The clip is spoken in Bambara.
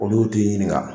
Olu t'i ɲininka